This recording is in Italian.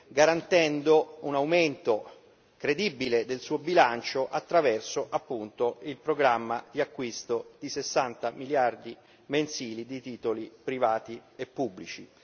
garantendo un aumento credibile del suo bilancio attraverso, appunto, il programma di acquisto di 60 miliardi mensili di titoli privati e pubblici.